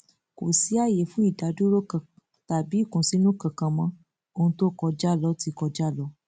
kò sí ààyè fún ìdádúró kan tàbí ìkùnsínú kankan mọ ohun tó kọjá ló ti kọjá lọ